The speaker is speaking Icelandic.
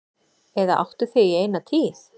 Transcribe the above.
Eða áttu þig í eina tíð.